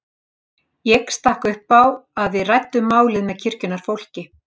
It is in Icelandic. Ég stakk upp á að við ræddum málið með kirkjunnar fólki.